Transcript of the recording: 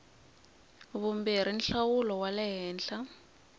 vumbirhi nhlawulo wa le henhla